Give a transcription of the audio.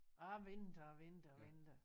Og jeg ventede og ventede og ventede